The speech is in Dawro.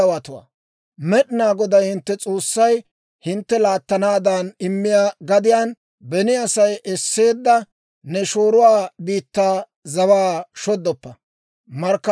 «Med'inaa Goday hintte S'oossay hintte laattanaadan immiyaa gadiyaan, beni Asay esseedda ne shooruwaa biittaa zawaa shoddoppa.